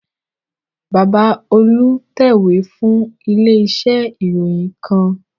Bàbá Olú ń tẹ̀wé fún ilé iṣẹ́ ìròyìn kan